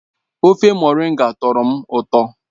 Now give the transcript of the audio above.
ofe moringa tọrọ m ụtọ